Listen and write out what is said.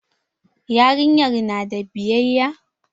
Yarinyar na da biyayya?